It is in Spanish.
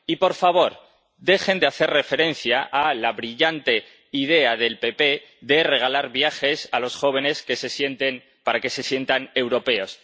Y, por favor, dejen de hacer referencia a la brillante idea del PPE de regalar viajes a los jóvenes para que se sientan europeos.